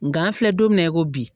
Nga an filɛ don min na i ko bi